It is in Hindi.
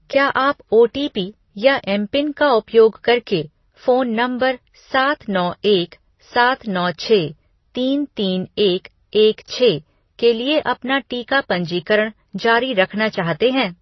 क्या आप ओटीपी या एमपिन का उपयोग करके फ़ोन नंबर सात नौ एक सात नौ छः तीन तीन एक एक छः के लिए अपना टीका पंजीकरण जारी रखना चाहते हैं?